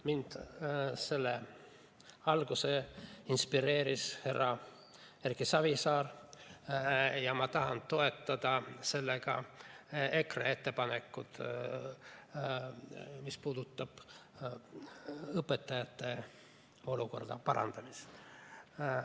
Mind inspireeris selleks härra Erki Savisaar ja ma tahan toetada EKRE ettepanekut, mis puudutab õpetajate olukorra parandamist.